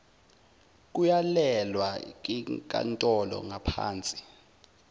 kuyalelwe yinkantolo ngapahnsi